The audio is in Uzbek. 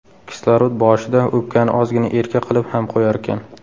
Kislorod boshida o‘pkani ozgina erka qilib ham qo‘yarkan.